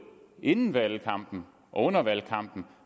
inden valgkampen og under valgkampen